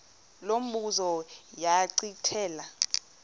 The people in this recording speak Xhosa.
lo mbuzo zachithela